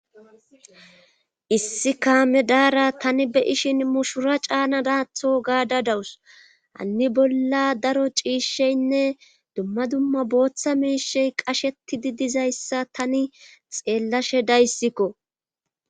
issi kaame daara tani be ishin mushura caana daatho gaada dawus hanni bolla daro ciishsheynne dumma dumma booththa miishey qasheti di dizayssa tani xeellashe dayssikko.